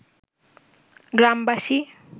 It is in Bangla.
গ্রামবাসী